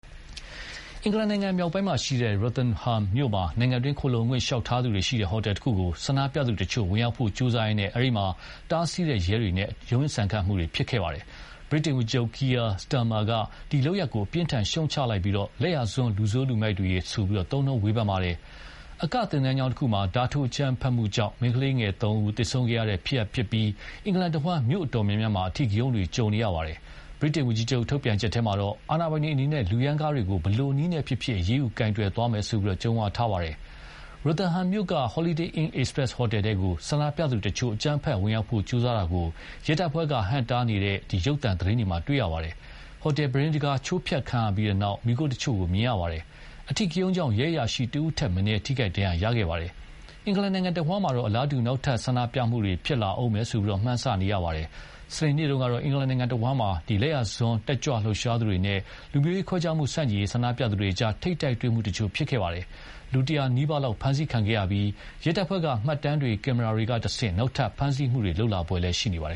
အင်္ဂလန်နိုင်ငံမြောက်ပိုင်းက Rotherham မြို့မှာ နိုင်ငံတွင်းခုံလှုံခွင့်လျှောက်ထားသူတွေရှိတဲ့ ဟိုတယ်တခုကို ဆန္ဒပြသူတချို့ ဝင်ရောက်ဖို့ကြိုးစားရင်း အဲဒီမှာ တားဆီးတဲ့ ရဲတွေနဲ့ ရုန်းရင်းဆန်ခတ်ဖြစ်ခဲ့ပါတယ်။ ဗြိတိန်ဝန်ကြီးချုပ် Keir Starmer က ဒီလုပ်ရပ်ကို အပြင်းအထန် ရှုတ်ချလိုက်ပြီး လက်ယာစွန်းလူဆိုးလူမိုက်တွေဆိုပြီး သုံးနှုန်းဝေဖန်ပါတယ်။ အကသင်တန်းကျောင်းတခုမှာ ဓါးထိုးအကြမ်းဖက်မှုတရပ်ကြောင့် မိန်းကလေးငယ်သုံးဦးသေဆုံးခဲ့တဲ့ဖြစ်ရပ်နောက်ပိုင်း အင်္ဂလန်တဝန်းမြို့တော်များများမှာ အဓိကရုဏ်းတွေတွေ ကြုံလာရတာပါ။ ဗြိတိန်ဝန်ကြီးချုပ်ထုတ်ပြန်ချက်မှာတော့ အာဏာပိုင်တွေအနေနဲ့ လူရမ်းကားတွေကို ဘယ်လိုနည်းနဲ့ဖြစ်ဖြစ် အရေးယူကိုင်တွယ်သွားမယ်လို့ ကြုံးဝါးထားပါတယ်။ Rotherham မြို့က Holiday Inn Express ဟိုတယ်ထဲကို ဆန္ဒပြသူတချို့ အကြမ်းဖက်ဝင်ရောက်ဖို့ ကြိုးစားတာကို ရဲတပ်ဖွဲ့က ဟန့်တားနေတာတွေနဲ့ ဆန္ဒပြသူတွေနဲ့ ထိပ်တိုက်ဖြစ်နေတာတွေကို ဒေသတွင်းရုပ်သံသတင်းတွေမှာ တွေ့ရပါတယ်။ ဟိုတယ် ပြူတင်းတခါး ချိုးဖျက်ခံရပြီးတဲ့နောက် မီးခိုးတချို့ မြင်ရပါတယ်။ အဓိကရုဏ်းကြောင့် ရဲအရာရှိတဦးထက်မနည်း ထိခိုက်ဒဏ်ရာရခဲ့ပါတယ်။ အင်္ဂလန်နိုင်ငံတဝန်းမှာတော့ အလားတူ နောက်ထပ်ဆန္ဒပြမှုတွေ ဖြစ်လာဦးမယ်လို့ မှန်းဆရပါတယ်။ စနေနေ့ကတော့ အင်္ဂလန်နိုင်ငံတဝန်းမှာ လယ်ယာစွန်းတက်ကြွလှုပ်ရှားသူတွေနဲ့ လူမျိုးရေးခွဲခြားမှုဆန့်ကျင်ရေးဆန္ဒပြသူတွေကြား ထိပ်တိုက်တွေ့မှုတချို့ဖြစ်ခဲ့ပါတယ်။ လူ တရာနီးပါးလောက်ဖမ်းဆီးခံခဲ့ရပြီး ရဲတပ်ဖွဲ့က မှတ်တမ်းတွေ ကင်မရာတွေကတဆင့် နောက်ထပ်ဖမ်းဆီးမှုတွေ လုပ်လာဖွယ်ရှိပါတယ်